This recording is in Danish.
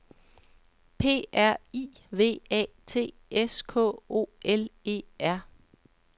P R I V A T S K O L E R